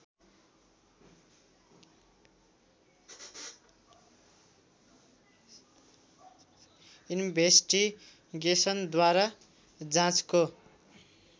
इन्भेस्टिगेसनद्वारा जाँचको